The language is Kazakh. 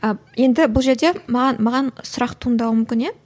ы енді бұл жерде маған маған сұрақ туындауы мүмкін иә